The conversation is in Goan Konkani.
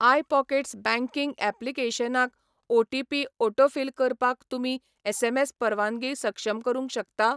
आय पॉकेट्स बँकिंग ऍप्लिकेशनाक ओटीपी ऑटोफिल करपाक तुमी एसएमएस परवानगी सक्षम करूंक शकता?